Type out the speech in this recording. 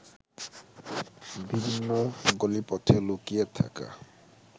বিভিন্ন গলিপথে লুকিয়ে থাকা